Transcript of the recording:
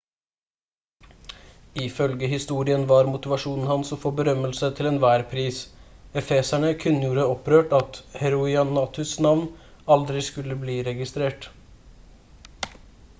ifølge historien var motivasjonen hans å få berømmelse til enhver pris efeserne kunngjorde opprørt at heroinatus navn aldri skulle bli registrert